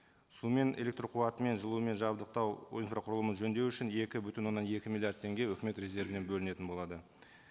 сумен электрқуатымен жылумен жабдықтау инфрақұрылымын жөндеу үшін екі бүтін оннан екі миллиард теңге үкімет резервінен бөлінетін болады